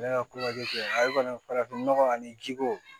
Ne ka farafinnɔgɔ ani jiko